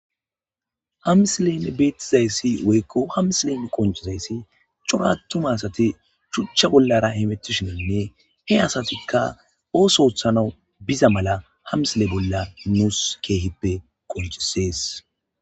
hamsilen bietizayssi woykko hamsilen qoncizayssi corattuma asati chuchcha bollara hibetishinenne he asatikka ooso othanau biza mala hamsile bolla nuus keehippe qoncisees